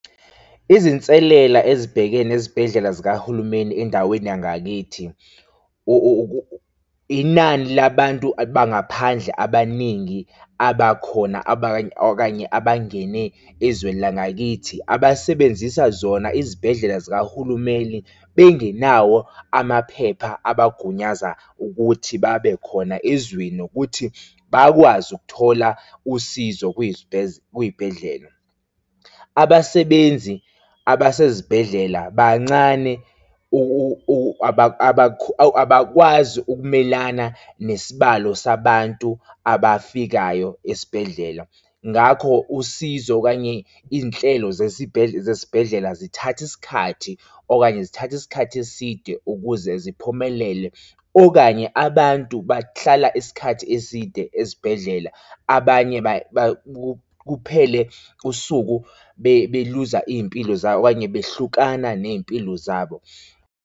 Izinselela ezibhekene nezibhedlela zikahulumeni endaweni yangakithi, inani labantu abangaphandle abaningi abakhona abanye, abanye abangene ezweni langakithi abasebenzisa zona izibhedlela zikahulumeni bengenawo amaphepha abagunyaza ukuthi babe khona ezweni nokuthi bakwazi ukuthola usizo kwiy'bhedlela. Abasebenzi abasezibhedlela bancane abakwazi ukumelana nesibalo sabantu abafikayo esibhedlela, ngakho usizo okanye izinhlelo zesibhedlela zithathe isikhathi okanye zithathe isikhathi eside ukuze ziphumelele okanye abantu bahlala isikhathi eside ezibhedlela, banye kuphele usuku beluza iy'mpilo zabo okanye bahlukana ney'mpilo zabo.